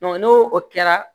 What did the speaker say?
n'o o kɛra